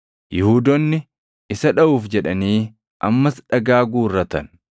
Yihuudoonni isa dhaʼuuf jedhanii ammas dhagaa guurratan.